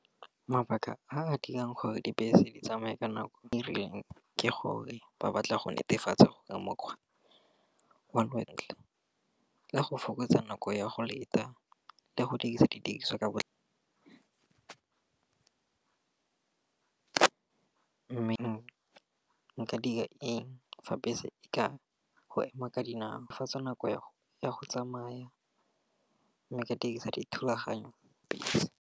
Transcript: Mabaka a a dirang gore dibese di tsamaye ka nako e rileng, ke gore ba batla go netefatsa gore mokgwa. Le go fokotsa nako ya go leta le go dirisa didiriswa ka mme nka dira eng fa bese e ka go ema ka dinao, fetsa nako ya go tsamaya mme ka dirisa dithulaganyo.